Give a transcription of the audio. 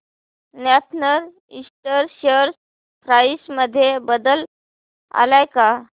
north eastern share price मध्ये बदल आलाय का